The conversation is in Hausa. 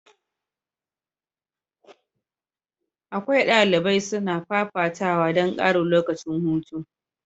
Akwai dalibai suna fafatawa don karin lokacin hutu.